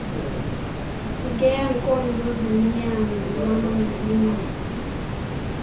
ngeenkonzo zonyango lwamazinyo